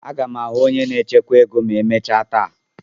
Aga m ahụ onye na-echekwa ego ma emechaa taa.